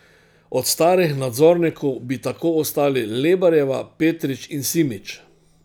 Od starih nadzornikov bi tako ostali Lebarjeva, Petrič in Simič.